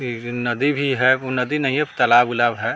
फिर नदी भी है उ नदी नहीं है तालाब-उलाब है।